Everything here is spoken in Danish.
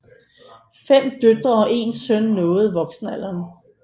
Fem døtre og én søn nåede voksenaldreren